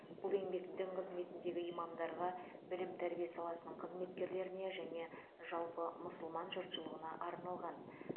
бұл еңбек дін қызметіндегі имамдарға білім тәрбие саласының қызметкерлеріне және жалпы мұсылман жұртшылығына арналған